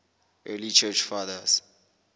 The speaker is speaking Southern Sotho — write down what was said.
early church fathers